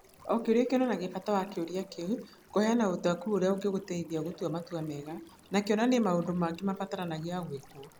O kĩũria kĩonanagia bata wa kĩũria kĩu, kĩheana ũtaũku ũrĩa ũngĩgũteithia gũtua matua mega, na kĩonanie maũndũ mangĩ mabataranagia gwĩkwo.